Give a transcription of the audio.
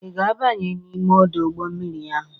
Ị ga-abanye n'ime ọdọ mmiri ahụ?